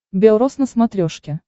бел рос на смотрешке